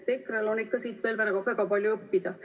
EKRE-l on ikka siit veel väga palju õppida.